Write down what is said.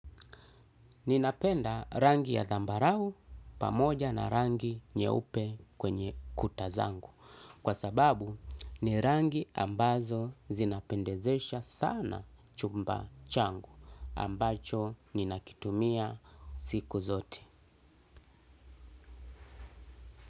Ninapenda rangi ya zambarau pamoja na rangi nyeupe kwenye kuta zangu kwa sababu ni rangi ambazo zinapendezesha sana chumba changu ambacho ninakitumia siku zote.